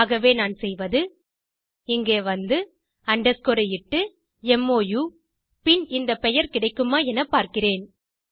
ஆகவே நான் செய்வது இங்கே வந்து underscore இட்டு மோ பின் இந்தப் பெயர் கிடைக்குமா எனப் பார்க்கிறேன்